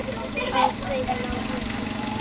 Á þeim lá hún aldrei.